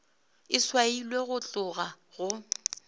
e swailwe go tloga go